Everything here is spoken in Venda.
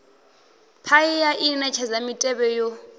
paia i netshedza mitevhe yo